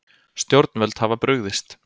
Stjórnvöld hafa brugðist